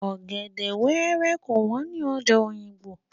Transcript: Ọ̀gẹ̀dè wẹ́rẹ́ kò wọ́n ní ọjà Òyìngbò.